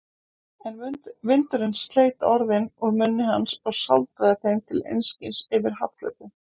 En vindurinn sleit orðin úr munni hans og sáldraði þeim til einskis yfir hafflötinn.